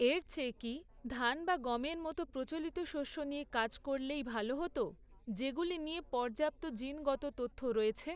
এর চেয়ে কি, ধান বা গমের মতো প্রচলিত শস্য নিয়ে কাজ করলেই ভালো হত, যেগুলি নিয়ে পর্যাপ্ত জিনগত তথ্য রয়েছে।